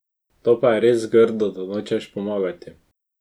To je pa res grdo, da nočeš pomagati.